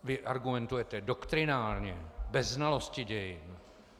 Vy argumentujete doktrinálně, bez znalosti dějin.